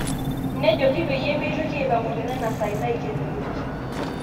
Nejoki peyia meitoki aipang'u tenena sai naikenoyioki